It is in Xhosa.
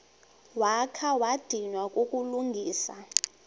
wakha wadinwa kukulungisa